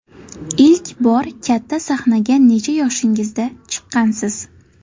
Ilk bor katta sahnaga necha yoshingizda chiqqansiz?